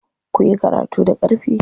Kuyi karatu da ƙarfi.